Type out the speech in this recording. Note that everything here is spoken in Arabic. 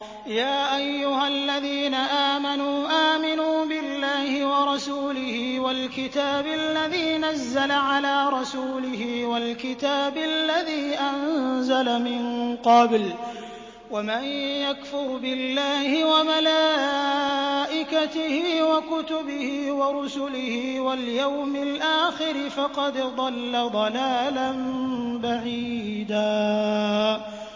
يَا أَيُّهَا الَّذِينَ آمَنُوا آمِنُوا بِاللَّهِ وَرَسُولِهِ وَالْكِتَابِ الَّذِي نَزَّلَ عَلَىٰ رَسُولِهِ وَالْكِتَابِ الَّذِي أَنزَلَ مِن قَبْلُ ۚ وَمَن يَكْفُرْ بِاللَّهِ وَمَلَائِكَتِهِ وَكُتُبِهِ وَرُسُلِهِ وَالْيَوْمِ الْآخِرِ فَقَدْ ضَلَّ ضَلَالًا بَعِيدًا